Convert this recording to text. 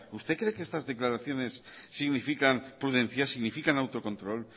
usted cree que estas declaraciones significan prudencia significan autocontrol